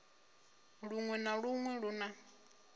luṅwe na luṅwe lu na